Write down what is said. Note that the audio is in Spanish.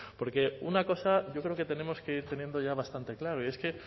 porque una cosa yo creo que tenemos que ir teniendo ya bastante clara y es que